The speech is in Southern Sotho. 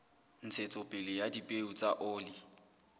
ntshetsopele ya dipeo tsa oli